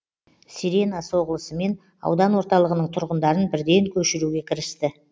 сирена соғылысымен аудан орталығының тұрғындарын бірден көшіруге кірісті